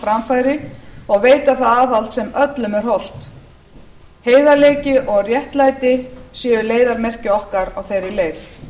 framfæri og veita það aðhald sem öllum er hollt heiðarleiki og réttlæti séu leiðarmerki okkar á þeirri leið